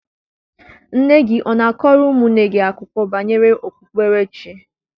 Nne gị ọ na-akọrọ ụmụnne gị akụkọ banyere okpukperechi?